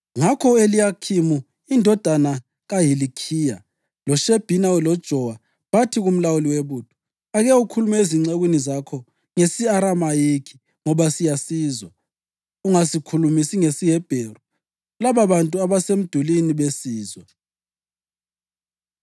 Ngakho u-Eliyakhimu indodana kaHilikhiya, loShebhina loJowa bathi kumlawuli webutho, “Ake ukhulume ezincekwini zakho ngesi-Aramayikhi, ngoba siyasizwa. Ungasikhulumisi ngesiHebheru lababantu abasemdulini besizwa.”